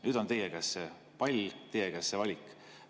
Nüüd on teie käes see pall, teie käes see valik.